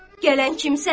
Gələn kimsən?